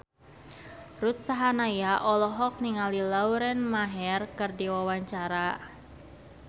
Ruth Sahanaya olohok ningali Lauren Maher keur diwawancara